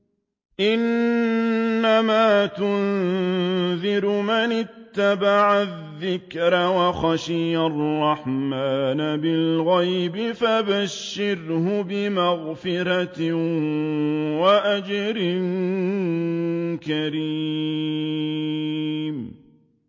إِنَّمَا تُنذِرُ مَنِ اتَّبَعَ الذِّكْرَ وَخَشِيَ الرَّحْمَٰنَ بِالْغَيْبِ ۖ فَبَشِّرْهُ بِمَغْفِرَةٍ وَأَجْرٍ كَرِيمٍ